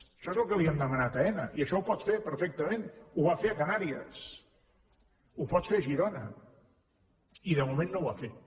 això és el que li hem demanat a aena i això ho pot fer perfectament ho va fer a canàries ho pot fer a girona i de moment no ho ha fet